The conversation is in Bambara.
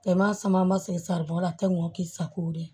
Kɛmɛ sama ma se saribɔ la tɛ n ko k'i sago de ye